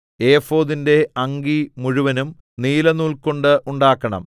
ഏഫോദിന്റെ അങ്കി മുഴുവനും നീലനൂൽകൊണ്ട് ഉണ്ടാക്കണം